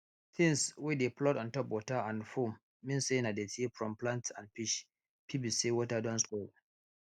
things wey dey float on top water and foam mean say na dirty from plant and fish r fit be say water don spoil